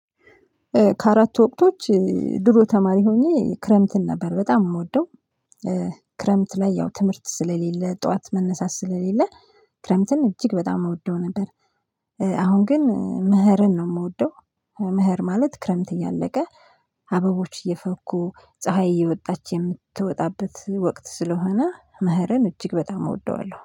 ከአራቱ ወቅቶች ድሮ ተማሪ ሆኜ ክረምትን ነበር በጣም የምወደው። ክረምት ላይ ያው ትምህርት ስለሌለ ጠዋት መነሳት ስለሌለ ክረምትን እጅግ በጣም እወደው ነበር። አሁን ግን ምህርን ነው የምወደው። ምህር ማለት ክረምት እያለቀ አበቦች እየፈኩ ፀሀይ እየወጣች የምትወጣበት ወቅት ስለሆነ ምህርን እጅግ በጣም እወደዋለሁ